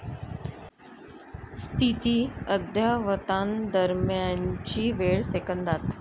स्थिती अद्ययावतांदरम्यानची वेळ सेकंदांत